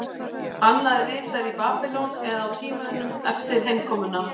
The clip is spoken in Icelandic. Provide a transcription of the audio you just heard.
Annað er ritað í Babýlon eða á tímanum eftir heimkomuna.